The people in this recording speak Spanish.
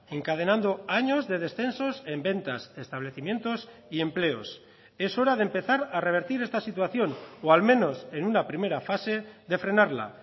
encadenando años de descensos en ventas establecimientos y empleos es hora de empezar a revertir esta situación o al menos en una primera fase de frenarla